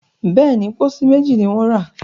béèni, pósí méjì ní wón ra.